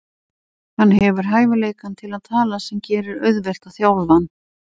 Hann hefur hæfileikann til að tala sem gerir auðvelt að þjálfa hann.